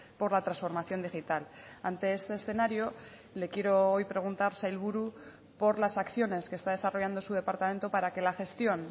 por la transformación digital ante este escenario le quiero hoy preguntar sailburu por las acciones que está desarrollando su departamento para que la gestión